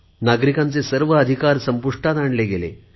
नागरिकांचे सर्व अधिकार संपुष्टात आणले गेले